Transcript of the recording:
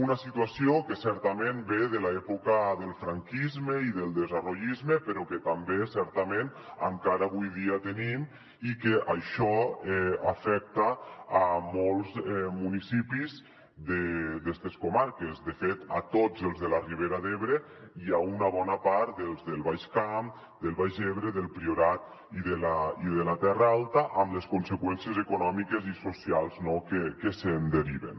una situació que certament ve de l’època del franquisme i del desenvolupisme però que també certament encara avui dia tenim i això afecta molts municipis d’estes comarques de fet tots els de la ribera d’ebre i una bona part dels del baix camp del baix ebre del priorat i de la terra alta amb les conseqüències econòmiques i socials que se’n deriven